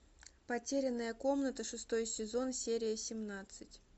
потерянная комната шестой сезон серия семнадцать